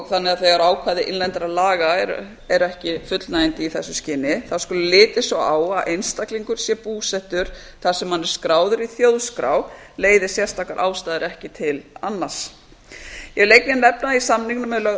þannig að þegar ákvæði innlendra laga eru ekki fullnægjandi í þessu skyni skuli litið svo á að einstaklingur sé búsettur þar sem hann er skráður í þjóðskrá leiði sérstakar ástæður ekki til annars ég vil einnig nefna að í samningnum er lögð